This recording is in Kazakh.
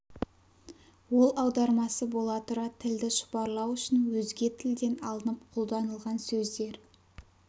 ол аудармасы бола тұра тілді шұбарлау үшін өзге тілден алынып қолданылған сөздер